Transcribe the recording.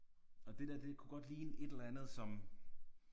Og det der det kunne godt ligne et eller andet som